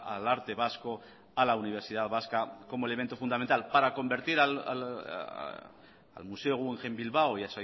al arte vasco a la universidad vasca como elemento fundamental para convertir al museo guggenheim bilbao y